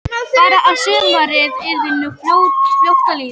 Bara að sumarið yrði nú fljótt að líða.